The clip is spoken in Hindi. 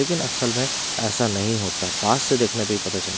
लेकिन असल में ऐसा नहीं होता पास से देखने पे ही पता चलता--